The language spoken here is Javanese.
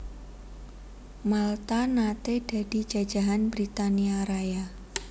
Malta naté dadi jajahan Britania Raya